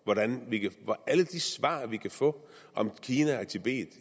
alle de svar vi kan få om kina og tibet